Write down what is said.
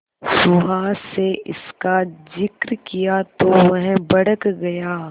सुहास से इसका जिक्र किया तो वह भड़क गया